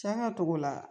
Saga togo la